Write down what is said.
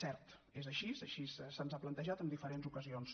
cert és així així se’ns ha plantejat en diferents ocasions